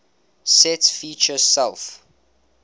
sets feature self